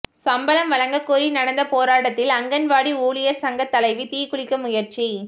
சம்பளம் வழங்க கோரி நடந்த போராட்டத்தில் அங்கன்வாடி ஊழியர் சங்க தலைவி தீக்குளிக்க முயற்சி